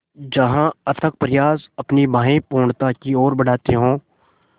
जहाँ अथक प्रयास अपनी बाहें पूर्णता की ओर बढातें हो